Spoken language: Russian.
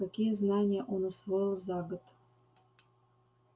какие знания он усвоил за год